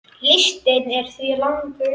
Listinn er því langur.